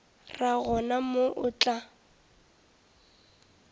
ra gona moo o tla